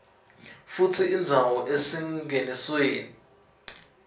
futsi indzawo esingenisweni